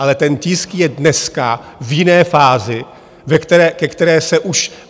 Ale ten tisk je dneska v jiné fázi, ke které se už...